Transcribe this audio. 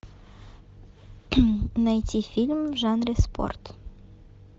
найти фильм в жанре спорт